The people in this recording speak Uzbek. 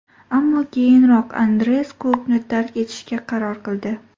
Ammo keyinroq Andreas klubni tark etishga qaror qildi.